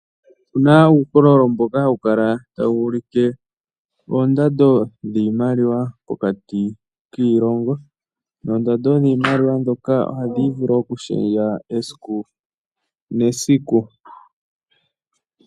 Opu na uukololo mboka hawu kala tawu ulike oondando dhiimaliwa pokati kiilongo noondando dhiimaliwa ndhoka ohadhi vulu okushendja esiku nesiku.